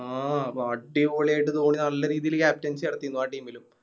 ആ അടിപൊളിയായിട്ട് ധോണി നല്ല രീതില് Captaincy നടത്തിന്നു ആ Team ലും